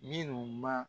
Minnu ma